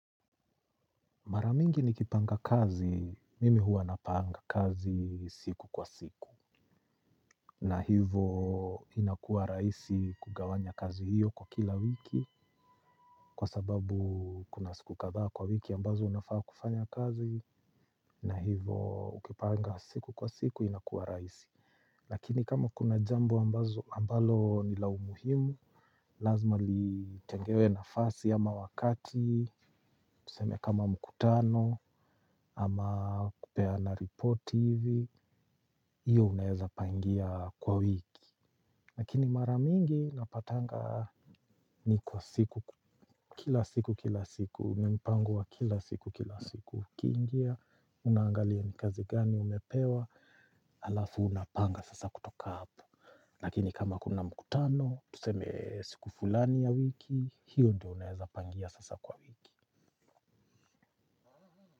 Mara mingi nikipanga kazi, mimi huwa napanga kazi siku kwa siku. Na hivo inakua raisi kugawanya kazi hiyo kwa kila wiki. Kwa sababu kuna siku kadhaa kwa wiki ambazo unafaa kufanya kazi. Na hivo ukipanga siku kwa siku inakuwa raisi. Lakini kama kuna jambo ambazo ambalo ni la umuhimu. Lazima litengewe nafasi ama wakati. Tuseme kama mkutano ama kupeana repoti hivi. Hiyo unaweza pangia kwa wiki. Lakini maramingi napatanga ni kwa siku. Kila siku kila siku ni mpango wa kila siku kila siku ukingia unangalia ni kazi gani umepewa. Halafu unapanga sasa kutoka hapo. Lakini kama kuna mkutano tuseme siku fulani ya wiki. Hiyo ndio unaweza pangia sasa kwa wiki.